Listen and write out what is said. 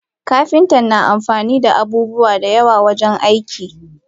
Kapinta na amfanida abubuwa dayawa wajen aiki.